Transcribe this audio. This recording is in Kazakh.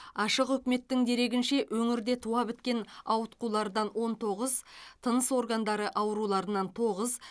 ашық үкіметтің дерегінше өңірде туа біткен ауытқулардан он тоғыз тыныс органдары ауруларынан тоғыз